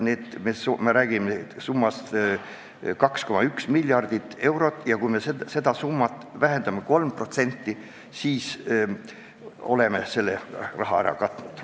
Jutt on summast 2,1 miljardit eurot ja kui me seda summat vähendame 3%, siis oleme selle kulu ära katnud.